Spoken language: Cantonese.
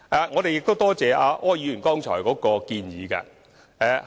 我感謝柯議員剛才的建議。